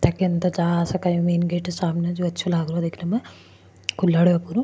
एक अंदर जा सक अस कहि मैन गेट हे सामने जो अच्छो लाग रहो हे देखने मे --